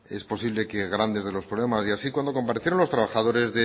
es posible que grandes de los problemas y así cuando comparecieron los trabajadores